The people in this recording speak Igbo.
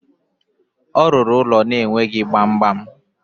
Ọ rụrụ ụlọ na-enweghi gbamgbam.